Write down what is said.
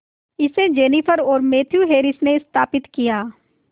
इसे जेनिफर और Matthew Harris ने स्थापित किया